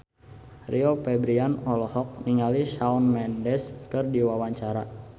Rio Febrian olohok ningali Shawn Mendes keur diwawancara